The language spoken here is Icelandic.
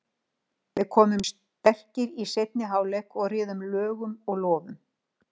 Við komum sterkir í seinni hálfleik og réðum lögum og lofum.